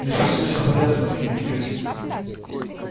не спеши с соболезнованиями кьюти